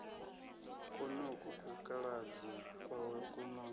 kwonoku kukaladzi kwawe ku no